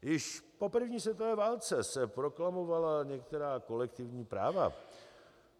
Již po první světové válce se proklamovala některá kolektivní práva.